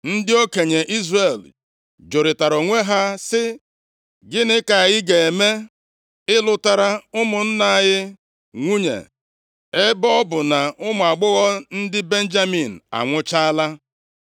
Ndị okenye Izrel jụrịtara onwe ha sị, “Gịnị ka anyị ga-eme ịlụtara ụmụnna anyị nwunye ebe ọ bụ na ụmụ agbọghọ ndị Benjamin anwụchaala?